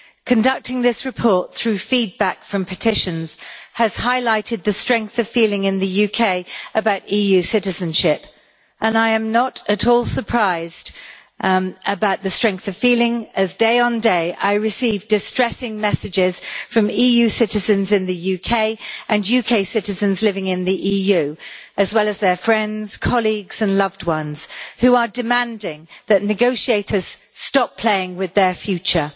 Conducting this report through feedback from petitions has highlighted the strength of feeling in the UK about EU citizenship, and I am not at all surprised about the strength of feeling, as day on day I receive distressing messages from EU citizens in the UK and UK citizens living in the EU, as well as their friends, colleagues and loved ones, who are demanding that negotiators stop playing with their future.